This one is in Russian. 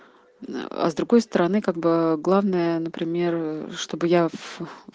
а с другой стороны как бы главное например чтобы я в